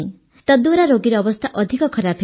ତାଦ୍ୱାରା ରୋଗୀର ଅବସ୍ଥା ଅଧିକ ଖରାପ ହେବ